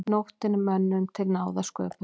Nóttin er mönnum til náða sköpuð.